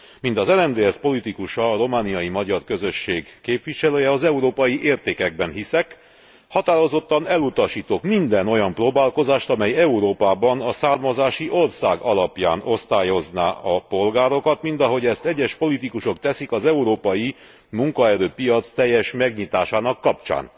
Mint az RMDSZ politikusa, a romániai magyar közösség képviselője, az európai értékekben hiszek. Határozottan elutasítok minden olyan próbálkozást, amely Európában a származási ország alapján osztályozná a polgárokat mint ahogy ezt egyes politikusok teszik az európai munkaerőpiac teljes magnyitásának kapcsán.